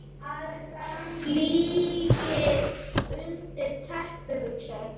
Flygill undir teppi, hugsaðu þér!